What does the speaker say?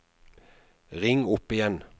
ring opp igjen